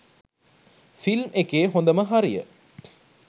Film එකේ හොඳම හරිය.